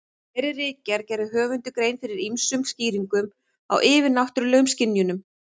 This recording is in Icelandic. Í þeirri ritgerð gerir höfundur grein fyrir ýmsum skýringum á yfirnáttúrulegum skynjunum.